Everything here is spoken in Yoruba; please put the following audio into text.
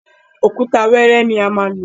Òkúta wẹ́ẹ́rẹ́ ni a má lò.